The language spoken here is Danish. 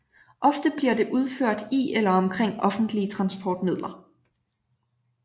Ofte bliver det udført i eller omkring offentlige transportmidler